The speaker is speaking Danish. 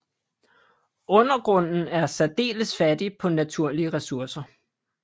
Undergrunden er særdeles fattig på naturlige ressourcer